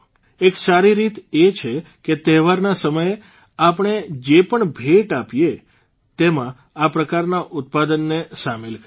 એક સારી રીત એ છે કે તહેવારના સમયે આપણે જે પણ ભેટ આપીએ તેમાં આ પ્રકારના ઉત્પાદનને સામેલ કરીએ